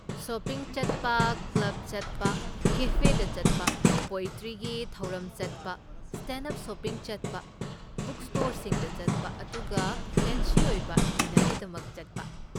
Shopping ꯆꯠꯄ, club ꯆꯠꯄ, ꯀꯦꯐꯦꯗ ꯆꯠꯄ, ꯄꯣꯑꯦꯇ꯭ꯔꯤꯒꯤ ꯊꯧꯔꯝ ꯆꯠꯄ, ꯁꯇꯦꯟꯗ ꯑꯞ ꯁꯣꯁꯤꯡ ꯆꯠꯄ, ꯕꯨꯛꯁ꯭ꯇꯣꯔꯁꯤꯡꯗ ꯆꯠꯄ, ꯑꯗꯨꯒ ꯐꯦꯟꯁꯤ ꯑꯣꯏꯕ ꯗꯤꯅꯔꯒꯤꯗꯃꯛ ꯆꯠꯄ꯫